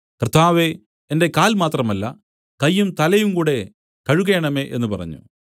കർത്താവേ എന്റെ കാൽ മാത്രമല്ല കയ്യും തലയും കൂടെ കഴുകേണമേ എന്നു പറഞ്ഞു